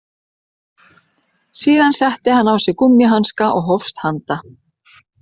Síðan setti hann á sig gúmmíhanska og hófst handa